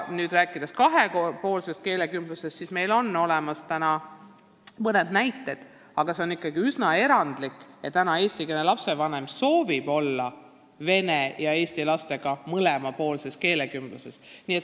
Rääkides kahepoolsest keelekümblusest, on meil täna olemas mõned head näited, aga see on ikkagi üsna erandlik, et eestlasest lapsevanem kiidab heaks vene ja eesti laste mõlemapoolse keelekümbluse.